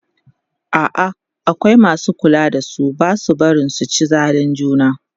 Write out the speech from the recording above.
a'a akwai masu kulawa da su Basu barin su ci zalin juna